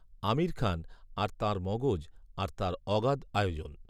আমির খান আর তাঁর মগজ আর তাঁর অগাধ আয়োজন